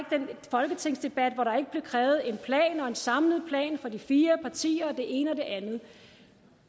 folketingsdebat hvor der ikke blev krævet en plan og en samlet plan for de fire partier og det ene og det andet